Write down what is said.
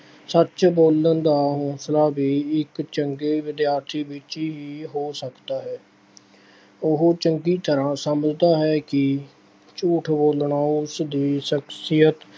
ਸੱਚ ਬੋਲਣ ਦਾ ਹੌਂਸਲਾ ਵੀ ਇੱਕ ਚੰਗੇ ਵਿਦਿਆਰਥੀ ਵਿੱਚ ਹੀ ਹੋ ਸਕਦਾ ਹੈ। ਉਹ ਚੰਗੀ ਤਰ੍ਹਾਂ ਸਮਝਦਾ ਹੈ ਕਿ ਝੂਠ ਬੋਲਣਾ ਉਸਦੀ ਸ਼ਖਸੀਅਤ